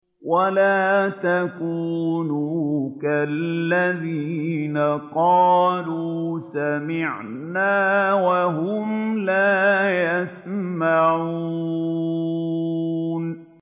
وَلَا تَكُونُوا كَالَّذِينَ قَالُوا سَمِعْنَا وَهُمْ لَا يَسْمَعُونَ